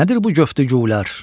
Nədir bu göftü güylər?